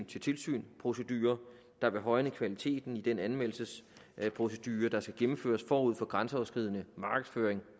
tilsynsprocedure der vil højne kvaliteten i den anmeldelsesprocedure der skal gennemføres forud for grænseoverskridende markedsføring